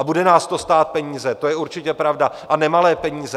A bude nás to stát peníze, to je určitě pravda, a nemalé peníze.